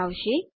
બતાવશે